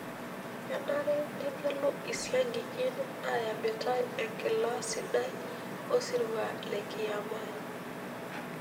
Kenare negelu esiankiki nayamitai enkila sidai osirua le kiyama.